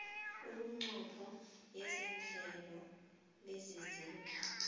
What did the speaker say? iminqopho yehlelo lezezindlu